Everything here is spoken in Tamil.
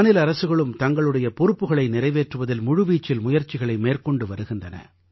மாநில அரசுகளும் தங்களுடைய பொறுப்புகளை நிறைவேற்றுவதில் முழுவீச்சில் முயற்சிகளை மேற்கொண்டு வருகின்றன